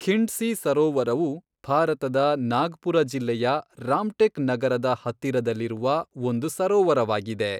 ಖಿಂಡ್ಸಿ ಸರೋವರವು ಭಾರತದ ನಾಗ್ಪುರ ಜಿಲ್ಲೆಯ ರಾಮ್ಟೆಕ್ ನಗರದ ಹತ್ತಿರದಲ್ಲಿರುವ ಒಂದು ಸರೋವರವಾಗಿದೆ.